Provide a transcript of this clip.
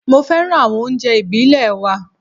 Mo féràn àwọn oúnjẹ ìbílè wa.